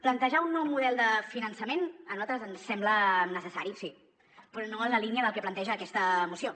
plantejar un nou model de finançament a nosaltres ens sembla necessari sí però no en la línia del que planteja aquesta moció